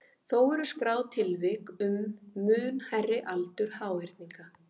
Þó eru skráð tilvik um mun hærri aldur háhyrninga.